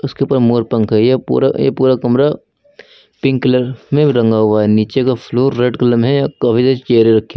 के ऊपर मोर पंख है यह पूरा ये पुरा कमरा पिंक कलर में रंगा हुआ है नीचे का फ्लोर रेड कलर में है चेयरे रखी--